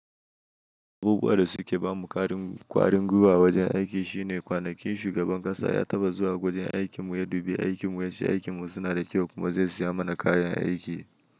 Abubuwan da suke ba mu ƙwarin gwiwa a wajen aiki shine kwanakin shugaban ƙasa ya taba zuwa wajen aikinmu, ya dubi aikinmu, ya ce aikinmu suna da kyau kuma zai siya mana kayan aiki.